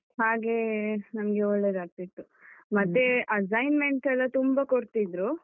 ಹಾಗೆ ನಮ್ಗೆ ಒಳ್ಳೆದಾಗ್ತಿತ್ತು, ಮತ್ತೆ assignments ಎಲ್ಲ ತುಂಬ ಕೊಡ್ತಿದ್ರು.